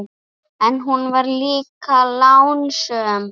En hún var líka lánsöm.